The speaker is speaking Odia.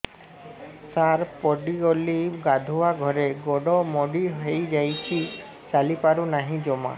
ସାର ପଡ଼ିଗଲି ଗାଧୁଆଘରେ ଗୋଡ ମୋଡି ହେଇଯାଇଛି ଚାଲିପାରୁ ନାହିଁ ଜମା